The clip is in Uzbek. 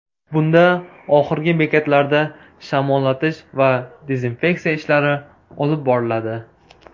Bunda oxirgi bekatlarda shamollatish va dezinfeksiya ishlari olib boriladi.